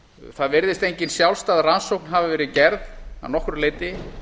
það virðist engin sjálfstæð rannsókn hafa verið gerð að nokkru leyti